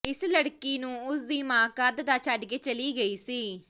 ਇਸ ਲੜਕੀ ਨੂੰ ਉਸ ਦੀ ਮਾਂ ਕਦ ਦਾ ਛੱਡ ਕੇ ਚਲੀ ਗਈ ਸੀ